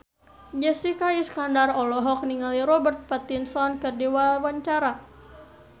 Jessica Iskandar olohok ningali Robert Pattinson keur diwawancara